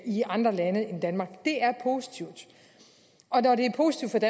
i andre lande end danmark det er positivt og når det er positivt